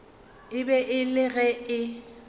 be e le ge e